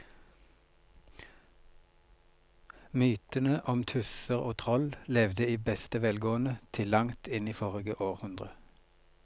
Mytene om tusser og troll levde i beste velgående til langt inn i forrige århundre.